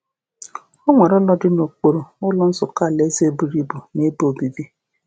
O nwere ụlọ dị n’okpuru, Ụlọ Nzukọ Alaeze buru ibu, na ebe obibi.